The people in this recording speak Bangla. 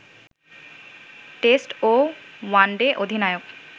টেস্ট ও ওয়ানডে অধিনায়ক